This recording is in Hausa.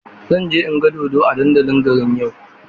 Zan je in ga dodo a dandalin garin yau.